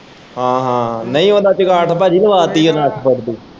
ਹਾਂ ਹਾਂ ਨਈ ਉਦਾ ਚੰਗਾਠ ਭਾਜੀ ਲਵਾਤੀ ਮੈਂ ਅੱਠ ਫੁੱਟ ਦੀ।